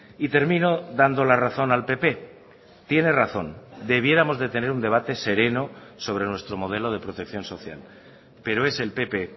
y termino dando la razón al pp tiene razón debiéramos de tener un debate sereno sobre nuestro modelo de protección social pero es el pp